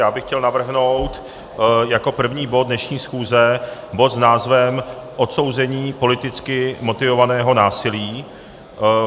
Já bych chtěl navrhnout jako první bod dnešní schůze bod s názvem Odsouzení politicky motivovaného násilí.